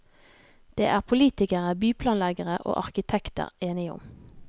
Det er politikere, byplanleggere og arkitekter enige om.